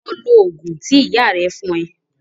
Lọ lò òògùn tí ìyá rà fún ẹ.